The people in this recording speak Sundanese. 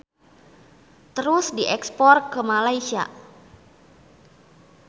Terus diekspor ke Malaysia.